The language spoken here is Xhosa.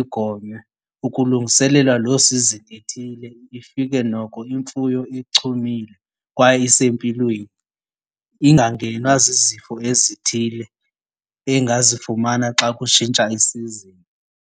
igonywe ukulungiselelwa loo sizini ethile, ifika noko imfuyo ichumile kwaye isempilweni, ingangenwa zizifo ezithile engazifumana xa kutshintsha isizini.